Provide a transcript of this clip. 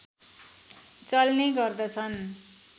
चल्ने गर्दछन्